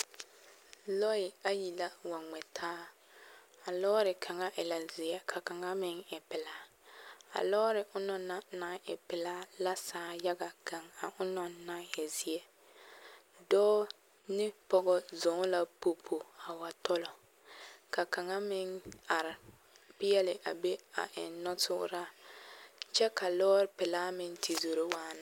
Lɔɛ ayi la wa ŋmɛ taa a lɔɔre kaŋa e la zeɛ ka kaŋa meŋ e pelaa a lɔɔre onaŋ na e pelaa la sãã yaɡa ɡaŋ a onaŋ naŋ e zeɛ dɔɔ ne pɔɡe zɔɔ la popo a wa tɔlɔ ka kaŋa meŋ are peɛle a be eŋ nɔtuuraa kyɛ ka lɔɔre pelaa meŋ te zoro waana.